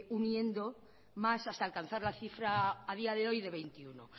uniendo más hasta alcanzar la cifra a día de hoy de veintiuno